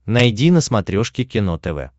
найди на смотрешке кино тв